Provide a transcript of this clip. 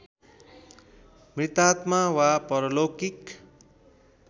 मृतात्मा वा परलौकिक